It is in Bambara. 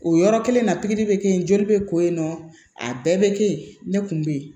O yɔrɔ kelen na pikiri bɛ kɛ yen joli bɛ ko in nɔ a bɛɛ bɛ kɛ yen ne kun bɛ yen